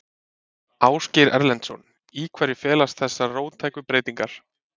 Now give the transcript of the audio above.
Ásgeir Erlendsson: Í hverju felast þessar róttæku breytingar?